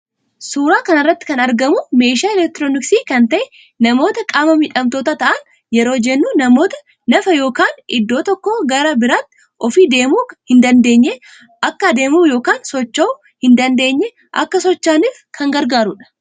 Suuraa kanarratti kan argamu meeshaa elektirooniksii kan ta'e namoota qaama miidhamtoota ta'an yeroo jennuu namoota naafa yookan iddo tokko gara biratti ofii deemuu hin dandeenye Akka deemu yookaan socho'u hin dandeenye Akka socho'aniif kan gargaarudha.